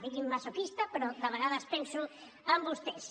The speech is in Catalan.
diguin me masoquista però de vegades penso en vostès